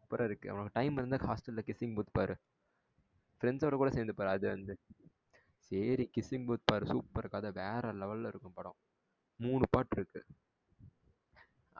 Super ரா இருக்கு உனக்கு time இருந்தா hostel ல kissing booth பாரு friends ஓட கூட சேர்ந்து பாரு அது வந்து சேரி kissing booth பாரு super கதை வேற level ல இருக்கும் படம் மூணு part இருக்கு